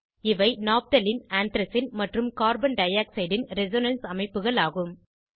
இவை naphthalene anthracene மற்றும் carbon dioxide ன் ரெசோனன்ஸ் அமைப்புகள் ஆகும்